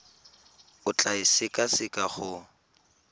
o tla e sekaseka go